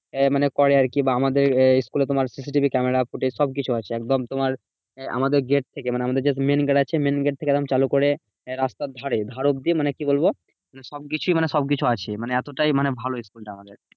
এ মানে করে আরকি। বা আমাদের school এ তোমার CCTV camera footage সবকিছু আছে। কদম তোমার আমাদের gate থেকে মানে আমাদের যে main gate আছে main gate থেকে একদম চালু করে রাস্তার ধারে ধার অব্দি মানে কি বলবো? সবকিছুই মানে সবকিছু আছে মানে এতটাই মানে ভালো school টা আমাদের।